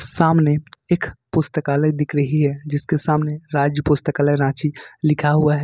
सामने एक पुस्तकालय दिख रही है जिसके सामने राज्य पुस्तकालय रांची लिखा हुआ है।